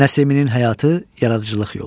Nəsiminin həyatı yaradıcılıq yolu.